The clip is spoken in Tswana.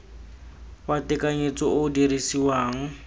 wa tekanyetso o o dirisiwang